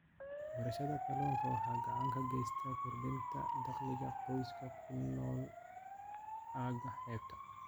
Beerashada kalluunka waxay gacan ka geysataa kordhinta dakhliga qoysaska ku nool aagga xeebta.